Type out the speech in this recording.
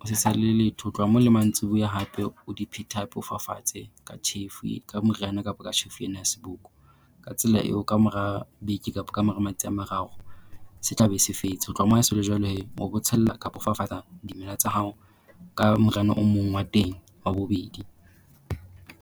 o se tshele le letho ho tloha moo le mantsibuya hape o di phete hape o fafatse ka tjhefu ka moriana kapa ka tjhefu ena ya seboko. Ka tsela eo kamora beke kapo kamora a mararo se tla be se fetse. Ho tloha moo ha se le jwalo hee o bo tshella kapo o fafatsa dimela tsa hao ka moriana o mong wa teng wa bobedi.